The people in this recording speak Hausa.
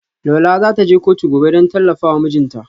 Lola za ta je kotu gobe don tallafa wa mijinta.